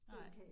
Nej